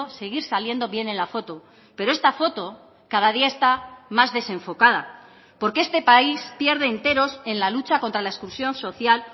seguir saliendo bien en la foto pero esta foto cada día está más desenfocada porque este país pierde enteros en la lucha contra la exclusión social